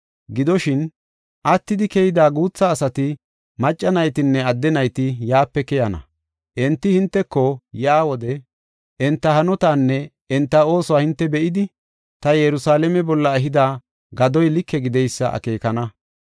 Gidoshin, attidi keyida guutha asati; macca naytinne adde nayti yaape keyana. Enti hinteko yaa wode enta hanotaanne enta oosuwa hinte be7idi, ta Yerusalaame bolla ehida gadoy like gideysa akeekana.